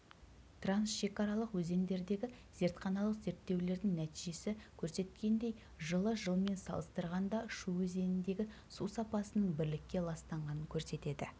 трансшекаралық өзендердегі зертханалық зерттеулердің нәтижесі көрсеткендей жылы жылмен салыстырғанда шу өзеніндегі су сапасының бірлікке ластанғанын көрсетеді